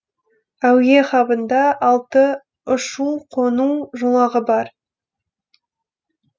әуе хабында алты ұшу қону жолағы бар